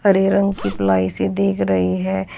हरे रंग की प्लाई सी दिख रही है।